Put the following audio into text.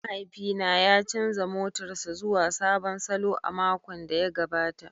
Mahaifina ya canza motarsa ​​zuwa sabon salo a makon da ya gabata.